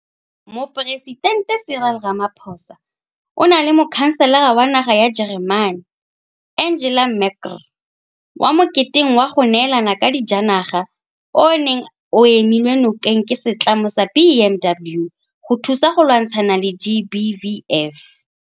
Moporesitente Cyril Ramaphosa o na le Mokhanselara wa naga ya Jeremane Angela Merkel kwa moketeng wa go neelana ka dijanaga o o neng o emilwe nokeng ke setlamo sa BMW go thusa go lwantshana le GBVF.